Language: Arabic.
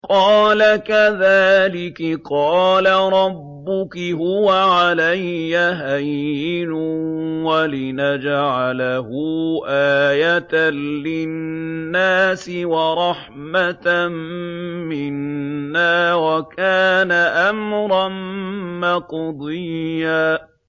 قَالَ كَذَٰلِكِ قَالَ رَبُّكِ هُوَ عَلَيَّ هَيِّنٌ ۖ وَلِنَجْعَلَهُ آيَةً لِّلنَّاسِ وَرَحْمَةً مِّنَّا ۚ وَكَانَ أَمْرًا مَّقْضِيًّا